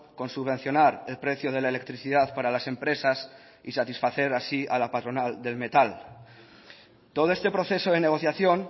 con subvencionar el precio de la electricidad para las empresas y satisfacer así a la patronal del metal todo este proceso de negociación